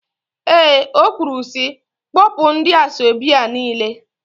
Eé, o kwuru sị, kpọpụ ndị asọebi a niile.